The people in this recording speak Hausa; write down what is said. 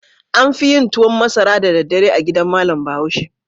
An fi yin tuwan masara da daddare a gidan malam Bahaushe.